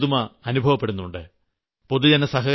ഒരു തരത്തിലുള്ള പുതുമ അനുഭവപ്പെടുന്നുണ്ട്